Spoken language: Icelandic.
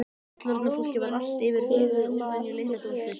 Fullorðna fólkið var allt yfir höfuð óvenju leyndardómsfullt.